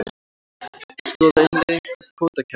Skoða innleiðingu kvótakerfis